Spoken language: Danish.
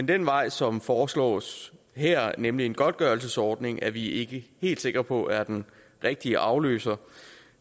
den vej som foreslås her nemlig en godtgørelsesordning er vi ikke helt sikre på er den rigtige afløser